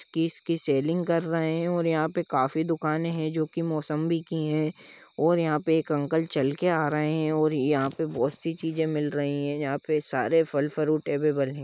किस की सेल्लिंग कर रहे है और यहा काफी दुकाने है जोकि मौसम्बी की है और यहा पे एक अंकल चल के आ रहे है और यहा पे बहुत सी चीज़े मिल रही है और यहाँ पे सारे फल फ्रूट अबेबल है।